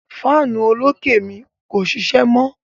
Fáànù olókè mi kò ṣíṣẹ́ mọ.